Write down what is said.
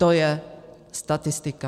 To je statistika.